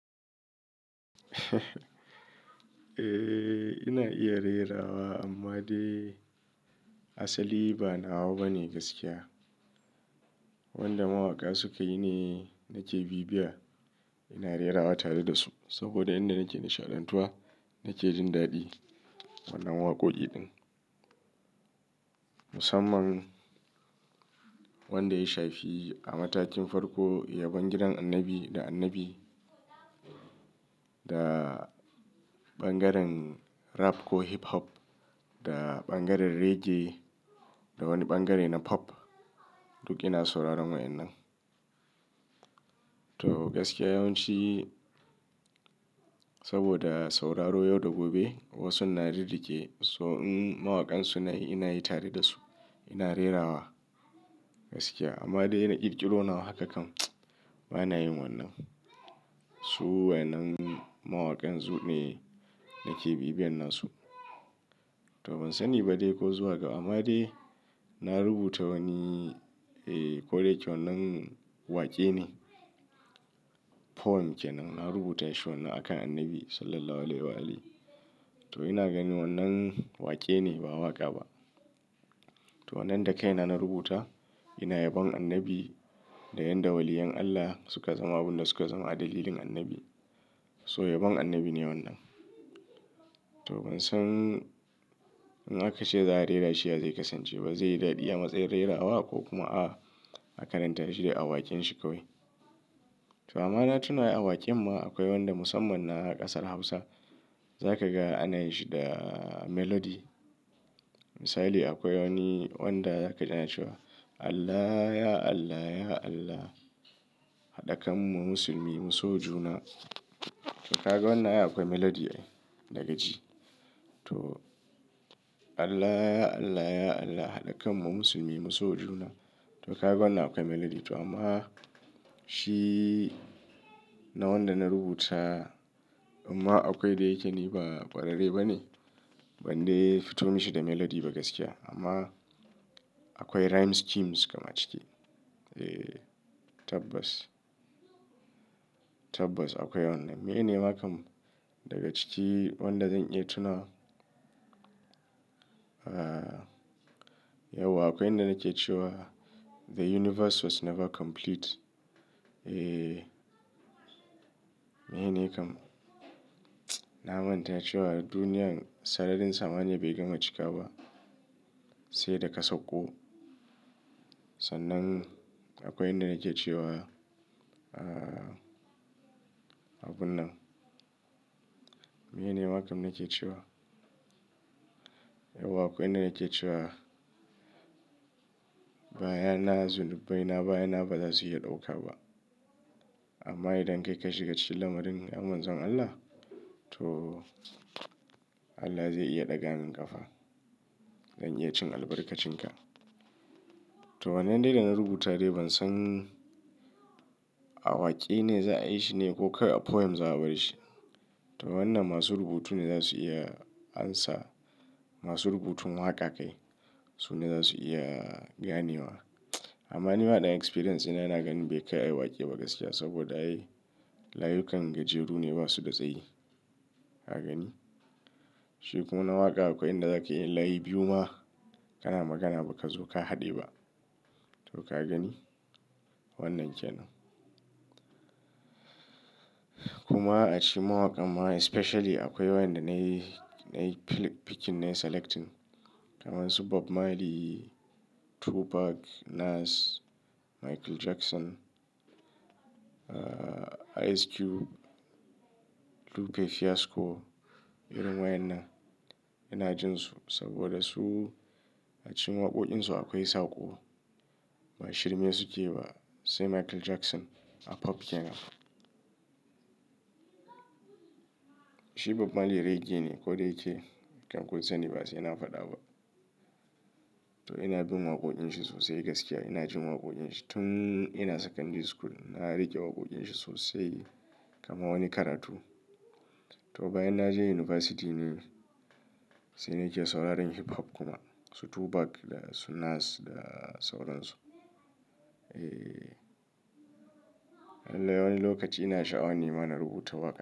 Eh ina iya rerawa amma dai asali ba nawa bane gaskiya. Wanda mawaka suka yi ne nake bibiya. Ina rerawa tare da su saboda yanda nake nishaɗantuwa nake jin daɗi wannan waƙoƙi din. Musamman wanda ya shafi a matakin farko, yabon gidan annabi da annabi da ɓangaren rap ko hip hop da ɓangaren reggae da wani ɓangare na pop. Duk ina sauraron waɗannan. To gaskiya yawanci saboda sauraro yau da gobe wasu na rirrike so mawakansu na ina yi tare da su. Ina rerawa gaskiya amma dai na ƙirƙiro nawa haka kam ba na yin wannan. Su wayannan mawakan su ne nake bibiyan nasu. To ban sani ba dai ko zuwa ga amma dai na rubuta wani eh koda yake wannan waƙe ne. Poem kenan. Na rubuta shi wannan a kan annabi Sallallahu Alaihi wa alihi. To ina gani wannan waƙe ne ba waƙa ba. To wannan da kaina na rubuta ina yabon annabi da yadda waliyan Allah suka zama abin da suka zama a dalilin annabi. So yabon annabi ne wannan. To ban san in aka ce za a rera shi ya zai kasance ba, zai yi daɗi a matsayin rerawa ko kuma a a karanta shi dai a waƙen shi kawai. To amma na tuna yi waƙen ma akwai wanda musamman na ƙasar Hausa. Za ka ga ana yi shi da melody. Misali akwai wani wanda za ka ji ana cewa; Allah ya Allah, ya Allah haɗa kanmu musulmi mu so juna. To ka ga wannan akwai melody ai daga ji. To Allah ya Allah, ya Allah haɗa kanmu musulmi mu so juna. To ka ga wannan akwai melody. To amma shi na wanda na rubuta amma akwai dai yake ne ba ƙwararre ba ne. Ban dai fito mishi da melody ba gaskiya. Amma akwai rhyme schemes kam ciki Eh tabbas. Tabbas akwai wannan. Meye ne ma kam daga ciki wanda zan iya tunawa? Ah yauwa akwai inda nake cewa; "The universe was never complete." Eh meye ne makam? Na manta cewa duniya sararin samaniya be gama cika ba sai da ka sauko. Sannan akwai inda nake cewa ah abun nan. Mene ne makam nake cewa? Yauwa akwai inda nake cewa; bayana, zulubbai na bayana ba za su iya ɗauka ba. Amma idan kai ka shiga cikin lamarin ya Manzon Allah to Allah zai iya ɗaga min ƙafa. Zan iya cin albarkacin ka. To wannan dai da na rubuta dai ban san a waƙe ne za a yi shi ne ko kai poem za a bar shi. To wannan masu rubutu ne za su iya amsa. Masu rubutun waka kai, Su ne za su iya gane wa. Amma ni ba ɗan experience ina yana ganin bai kai ayi waƙe ba gaskiya saboda ai layukan gajeru ne ba su da tsayi. Ka gani? Shi kuma na waƙa akwai inda za ka yin layi biyu ma kana magana baka zo ka haɗe ba. To ka gani? Wannan kenan. Kuma a cikin mawakan ma especially akwai wanda na yi, na yi picking ne selecting. Kamansu Bob Marley, Tupac, Nas, Michael Jackson, ah Ice Cube, Lupe Fiasco. Irin waƴanna ina jin su saboda su a cikin waƙoƙinsu akwai sako. Ba shirme suke ba sai Michael Jackson a pop kenan. Shi Bob Marley reggae ne kodayake kam kun sani ba sai ina faɗa ba. To ina bin waƙoƙin shi sosai gaskiya. Ina jin waƙoƙin shi tun ina secondary school. Na riƙe waƙoƙin shi sosai kamar wani karatu. To bayan na je university ne sai ni ke sauraron hip hop kuma. Su Tupac da su Nas da sauran su. Eh. Lallai wani lokaci ina sha'awan nima na rubuta waƙa.